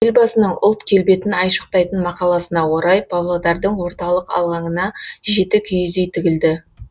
елбасының ұлт келбетін айшықтайтын мақаласына орай павлодардың орталық алаңына жеті киіз үй тігілді